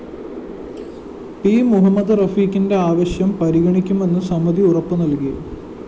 P Muhammad റഫീക്കിന്റെ ആവശ്യം പരിഗണിക്കുമെന്ന് സമിതി ഉറപ്പു നല്‍കി